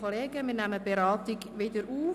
Wir nehmen die Beratungen wieder auf.